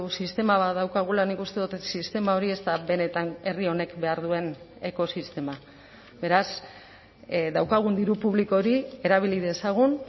sistema bat daukagula nik uste dut sistema hori ez da benetan herri honek behar duen ekosistema beraz daukagun diru publiko hori erabili dezagun